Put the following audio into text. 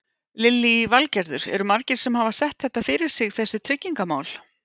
Lillý Valgerður: Eru margir sem hafa sett þetta fyrir sig þessi tryggingamál?